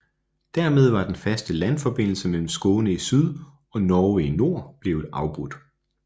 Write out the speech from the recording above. Dermed var den faste landforbindelse mellem Skåne i syd og Norge i nord blevet afbrudt